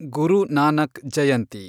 ಗುರು Nanak ಜಯಂತಿ